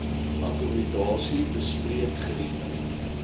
akkommodasie bespreek geriewe